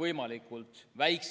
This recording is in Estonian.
võimalikult väiksed.